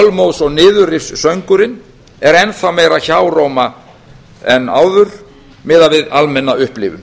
bölmóðs og niðurrifssöngurinn er enn þá meira hjáróma en áður miðað við almenna upplifun